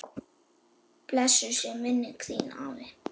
Blessuð sé minning þín, afi.